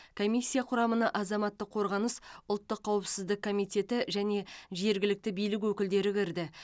комиссия құрамына азаматтық қорғаныс ұлттық қауіпсіздік коммитеті және жергілікті билік өкілдері кірді